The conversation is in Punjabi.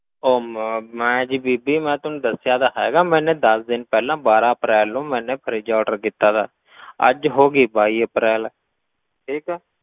ਉਹ ਮੈਂ ਮੈਂ ਜੀ ਬੀਬੀ ਮੈਂ ਤੈਨੂੰ ਦੱਸਿਆ ਤਾਂ ਹੈਗਾ ਮੈਨੇ ਦਸ ਦਿਨ ਪਹਿਲਾਂ ਬਾਰਾਂ ਅਪ੍ਰੈਲ ਨੂੰ ਮੈਨੇ fridge order ਕੀਤਾ ਸੀ ਅੱਜ ਹੋ ਗਈ ਬਾਈ ਅਪ੍ਰੈਲ, ਠੀਕ ਹੈ।